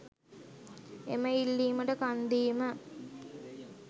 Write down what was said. එම ඉල්ලීමට කන්දීම